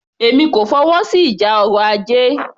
Èmi kò fọwọ́sí ìjà ọrọ̀ ajé